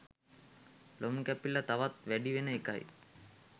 ලොම් කැපිල්ල තවත් වැඩි වෙන එකයි.